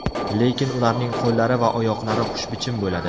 Lekin ularning qo‘llari va oyoqlari xushbichim bo‘ladi.